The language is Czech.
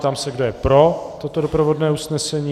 Ptám se, kdo je pro toto doprovodné usnesení.